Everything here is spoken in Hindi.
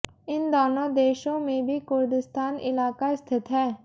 इन दोनों देशों में भी कुर्दिस्तान इलाक़ा स्थित है